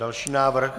Další návrh.